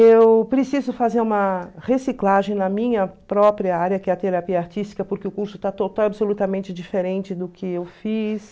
Eu preciso fazer uma reciclagem na minha própria área, que é a terapia artística, porque o curso está total e absolutamente diferente do que eu fiz.